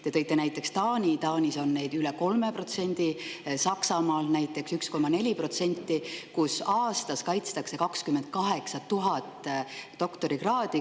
Te tõite näiteks Taani, kus neid on üle 3%, Saksamaal on näiteks 1,4% ja aastas kaitstakse 28 000 doktorikraadi.